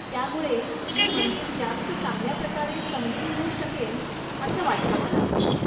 त्यामुळे मी मंदिर जास्त चांगल्याप्रकारे समजून घेऊ शकेन असं वाटतं मला.